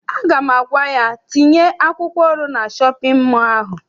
Aga m agwa ya, tinye akwụkwọ ọrụ na shọpịn mọọ ahụ!